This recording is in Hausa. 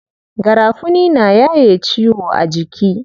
Garafuni na yaye ciwo a jiki.